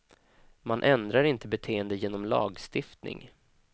Man ändrar inte beteende genom lagstiftning.